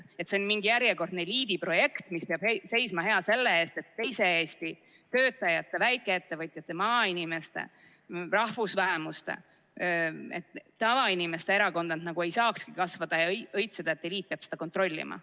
Et see on mingi järjekordne eliidi projekt, mis peab seisma hea selle eest, et teise Eesti töötajate, väikeettevõtjate, maainimeste, rahvusvähemuste, tavainimeste erakonnad nagu ei saakski kasvada ja õitseda, et eliit peab seda kontrollima.